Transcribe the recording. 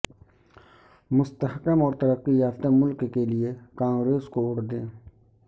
مستحکم اور ترقی یافتہ ملک کیلئے کانگریس کو ووٹ دیں